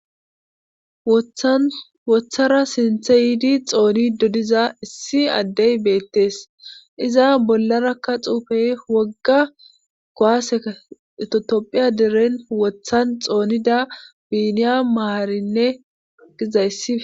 wothan wothara sinthe yiidi xoonidi diza issi addey beettees iza bollarakka xuufe wogga kuwaseka itotopphiya deren wothan xoonida biiniya maarinne gizayssi